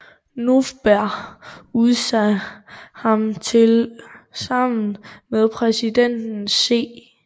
Novbr udsaa ham til sammen med Præsidenten C